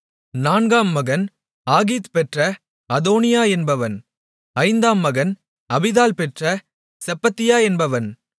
நான்காம் மகன் ஆகீத் பெற்ற அதோனியா என்பவன் ஐந்தாம் மகன் அபித்தாள் பெற்ற செப்பத்தியா என்பவன்